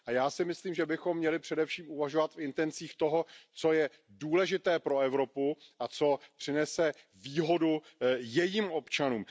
Já si myslím, že bychom měli především uvažovat v intencích toho, co je důležité pro Evropu a co přinese výhodu jejím občanům.